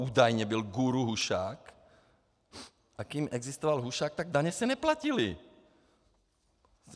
Údajně byl guru Hušák, a když existoval Hušák, tak daně se neplatily.